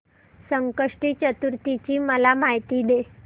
संकष्टी चतुर्थी ची मला माहिती दे